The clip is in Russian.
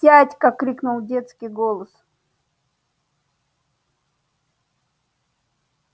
тятька крикнул детский голос